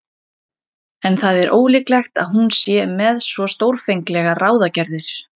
En það er ólíklegt að hún sé með svo stórfenglegar ráðagerðir.